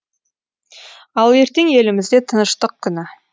ал ертең елімізде тыныштық күні